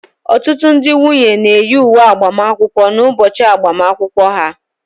Ọtụtụ ndị nwunye na-eyi uwe agbamakwụkwọ n'ụbọchị agbamakwụkwọ ha